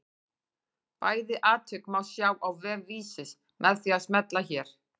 Bæði atvik má sjá á vef Vísis með því að smella hér.